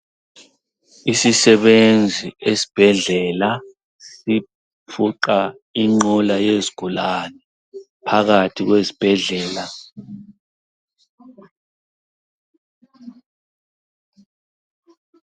Isisebenzi esibhedlela sifuqa inqola yezigulane phakathi kwesibhedlela.